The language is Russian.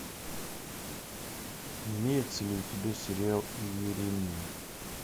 имеется ли у тебя сериал иеремия